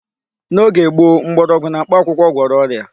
N'oge gboo, mkpọrọgwụ na mkpakwụkwọ gwọrọ ọrịa.